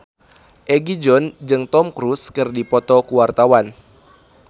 Egi John jeung Tom Cruise keur dipoto ku wartawan